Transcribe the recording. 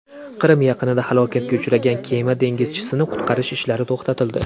Qrim yaqinida halokatga uchragan kema dengizchisini qutqarish ishlari to‘xtatildi.